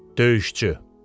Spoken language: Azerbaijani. Döyüşçü.